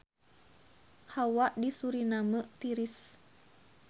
Hawa di Suriname tiris